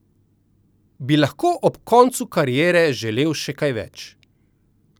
Bi lahko ob koncu kariere želel še kaj več?